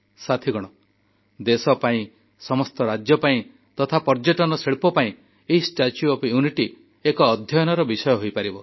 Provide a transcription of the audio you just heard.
ସାଥୀଗଣ ଦେଶ ପାଇଁ ସମସ୍ତ ରାଜ୍ୟ ପାଇଁ ତଥା ପର୍ଯ୍ୟଟନ ଶିଳ୍ପ ପାଇଁ ଏଇ ଷ୍ଟାଚ୍ୟୁ ଅଫ ୟୁନିଟି ଏକ ଅଧ୍ୟୟନର ବିଷୟ ହୋଇପାରିବ